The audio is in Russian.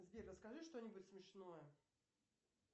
сбер расскажи что нибудь смешное